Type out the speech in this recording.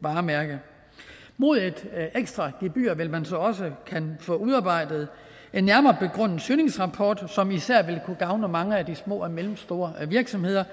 varemærke mod et ekstra gebyr vil man så også kunne få udarbejdet en nærmere begrundet søgningsrapport som især vil kunne gavne mange af de små og mellemstore virksomheder